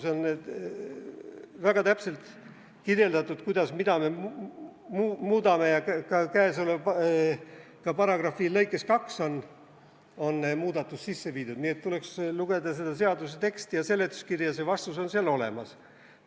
Seal on väga täpselt kirjeldatud, mida me muudame, ja käesoleva paragrahvi lõikes 2 on muudatus sisse viidud, nii et tuleks lugeda seda seaduse teksti ja seletuskirja, vastus on seal olemas.